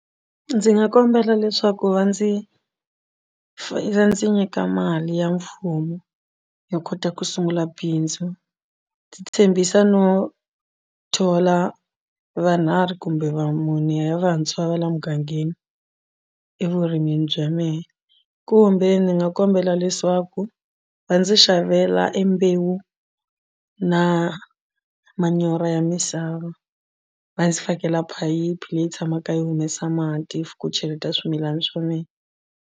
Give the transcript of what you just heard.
Ndzi nga kombela leswaku va ndzi va ndzi nyika mali ya mfumo yo kota ku sungula bindzu ndzi tshembisa no thola va nharhu kumbe va mune ya vantshwa va la mugangeni evurimini bya mehe kumbe ndzi nga kombela leswaku va ndzi xavela embewu na manyoro ya misava va ndzi fakela phayiphi leyi tshamaka yi humesa mati ku cheleta swimilana swa mina.